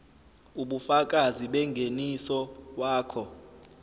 ubufakazi bengeniso wakho